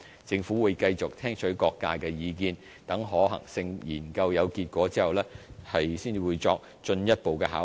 政府會繼續聽取各界的意見，待可行性研究有結果後，才作進一步考慮。